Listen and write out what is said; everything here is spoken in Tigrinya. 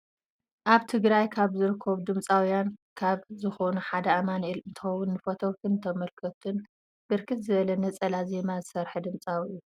አብ ትግራይ ካብ ዝርከቡ ድምፃውያን ካብ ዝኮኑ ሓደ አማኒኤል እንትኮውን ንፈተውቱን ንተመልከቱነ ብርክት ዝበለ ነፃላ ዜማታት ዝስርሐ ድምፃዊ እዩ ።